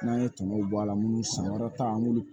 N'an ye tɔnɔw bɔ a la minnu sankɔrɔta an b'olu